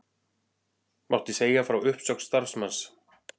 Mátti segja frá uppsögn starfsmanns